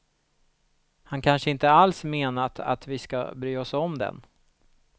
Han kanske inte alls menat att vi ska bry oss om den.